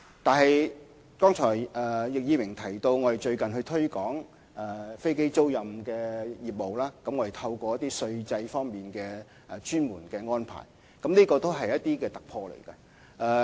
不過，正如易議員剛才提到，當局最近在推廣飛機租賃業務上，確實在稅制上作出特別安排，這是一個突破。